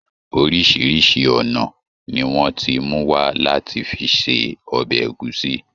Oríṣiríṣi ọ̀nà ni wọ́n ti mú wá láti fi se ọbẹ̀ ẹ̀gúsí.